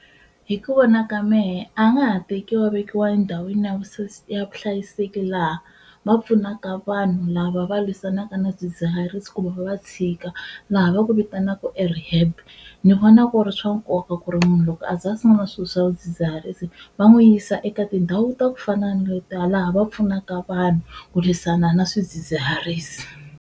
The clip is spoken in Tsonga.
Hi ku vona ka mehe a nga ha tekiwa a vekiwa endhawini ya vuhlayiseki laha va pfunaka vanhu lava va lwisanaka na swidzidzihari ku va va tshika laha va ku vitanaka erehaab. Ni vona ku ri swa nkoka ku ri munhu loko aze a sungula swilo swa swidzidziharisi va n'wi yisa eka tindhawu ta kufana na letiya laha va pfunaka vanhu ku lwisana na swidzidziharisi.